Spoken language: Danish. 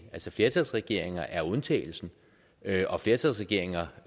flertalsregeringer er undtagelsen og flertalsregeringer